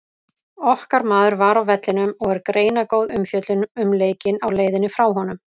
Okkar maður var á vellinum og er greinargóð umfjöllun um leikinn á leiðinni frá honum.